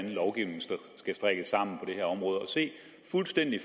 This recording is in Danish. lovgivningen skal strikkes sammen det her område og se fuldstændig